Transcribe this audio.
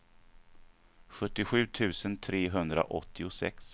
sjuttiosju tusen trehundraåttiosex